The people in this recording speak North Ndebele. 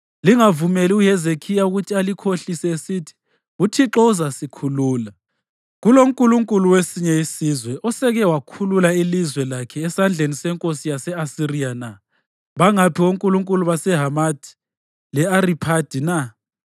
“Lingavumeli uHezekhiya ukuthi alikhohlise esithi, ‘ UThixo uzasikhulula.’ Kulonkulunkulu wesinye isizwe osewake wakhulula ilizwe lakhe esandleni senkosi yase-Asiriya na?